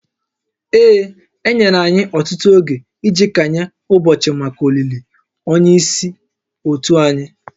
Ee, e nyere anyị ọtụtụ oge iji kanye ụbọchị maka olili onye isi òtù anyị